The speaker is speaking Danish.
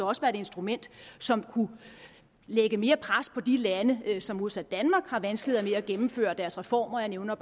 også være et instrument som kunne lægge mere pres på de lande som modsat danmark har vanskeligheder med at gennemføre deres reformer jeg nævner